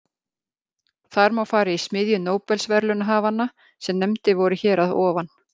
Þar má fara í smiðju nóbelsverðlaunahafanna sem nefndir voru hér að ofan.